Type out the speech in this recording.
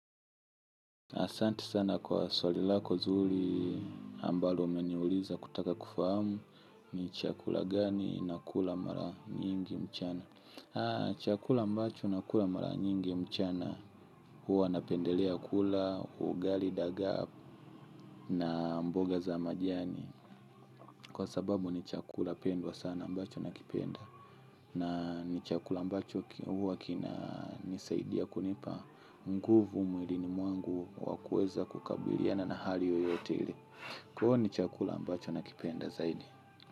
Asante sana kwa swali lako zuri ambalo umeniuliza kutaka kufahamu ni chakula gani na kula mara nyingi mchana. Chakula mbacho na kula mara nyingi mchana huwa napendelea kula, ugali, dagaa na mboga za majani. Kwa sababu ni chakula pendwa sana ambacho nakipenda. Na ni chakula ambacho huwa kinanisaidia kunipa nguvu mwilini mwangu kwa kuweza kukabiliana na hali yoyote ile kwaio ni chakula ambacho nakipenda zaidi.